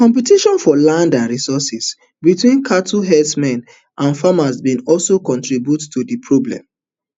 competition for land and resources between cattle herdsmen and farmers bin also contribute to di problem